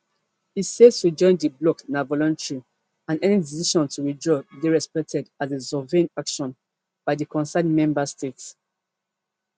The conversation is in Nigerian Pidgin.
e say to join di bloc na voluntary and any decision to withdraw dey respected as a sovereign action by di concerned member state